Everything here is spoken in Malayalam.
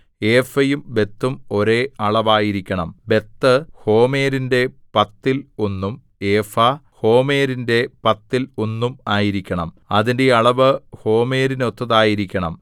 ഏഫയും ബത്തും ഒരേ അളവായിരിക്കണം ബത്ത് ഹോമെരിന്റെ പത്തിൽ ഒന്നും ഏഫാ ഹോമെരിന്റെ പത്തിൽ ഒന്നും ആയിരിക്കണം അതിന്റെ അളവ് ഹോമെരിനൊത്തതായിരിക്കണം